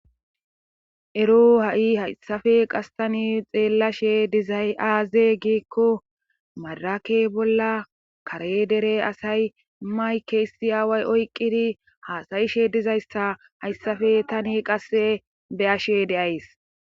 Ero ha7i hayssafe qastani xeellashe dizay aaze giikko madarake bolla kare dere asay mayke issi aaway oyqqidi haasayishe dizayssa hayssafe tani qasse be ashe de7ays.